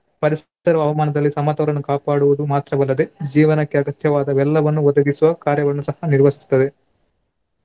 ಪರಿಸರ ಹವಾಮಾನದಲ್ಲಿ ಸಮತೋಲನ ಕಾಪಾಡುವುದು ಮಾತ್ರವಲ್ಲದೆ ಜೀವನಕ್ಕೆ ಅಗತ್ಯವಾದ ಎಲ್ಲವನ್ನು ಒದಗಿಸುವ ಕಾರ್ಯವನ್ನು ಸಹ ನಿರ್ವಹಿಸುತ್ತದೆ.